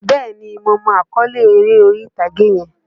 Bẹ́ẹ̀ni, mo mọ àkọ́lé eré orí-ìtàgé yẹn.